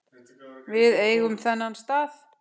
Við eigum þennan stað